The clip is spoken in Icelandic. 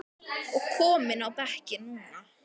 og kominn á bekkinn núna?